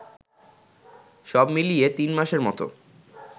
সবমিলিয়ে তিনমাসের মতো